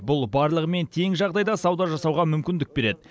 бұл барлығымен тең жағдайда сауда жасауға мүмкіндік береді